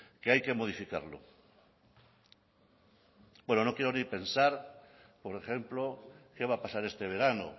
que hay que modificarlo bueno no quiero ni pensar por ejemplo qué va a pasar este verano